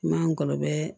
Ma ngɔlɔbɛ